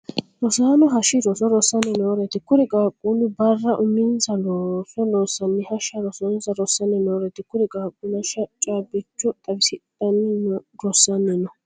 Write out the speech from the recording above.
Rosaano hashi roso rosanni nooreeti. Kuri qaaquuli bara uminsa looso loosanni hasha rosonsa rosanni nooreeti. Kuri qaaquuli hasha caabicho xawisidhanni rosanni no.